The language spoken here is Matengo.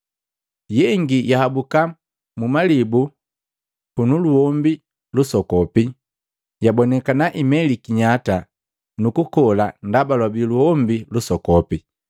Yengi yahabuka mu malibu punu luhombi lusokopi. Yabonikana imeliki nyata nukukola ndaba lwabii luhombi lusokopi.